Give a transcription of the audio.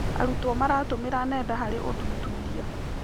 Arutwo maratũmĩra nenda harĩ ũthuthuria.